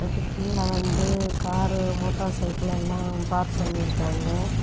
இதுகீழ வந்து car motorcycle எல்லாம் park பண்ணிருக்காங்க.